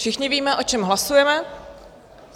Všichni víme, o čem hlasujeme.